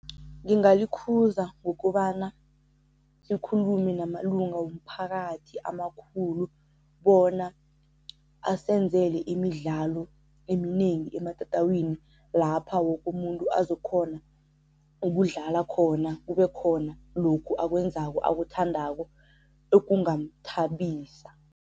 Ngingalikhuza ngokobana sikhulume namalunga womphakathi amakhulu bona asenzele imidlalo eminengi ematatawini lapha woke umuntu azokghona ukudlala khona kube khona lokhu akwenzako akuthandako ekungamthabisa.